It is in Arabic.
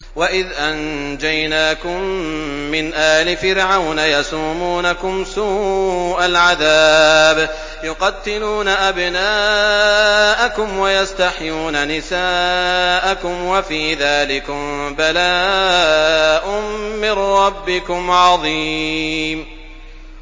وَإِذْ أَنجَيْنَاكُم مِّنْ آلِ فِرْعَوْنَ يَسُومُونَكُمْ سُوءَ الْعَذَابِ ۖ يُقَتِّلُونَ أَبْنَاءَكُمْ وَيَسْتَحْيُونَ نِسَاءَكُمْ ۚ وَفِي ذَٰلِكُم بَلَاءٌ مِّن رَّبِّكُمْ عَظِيمٌ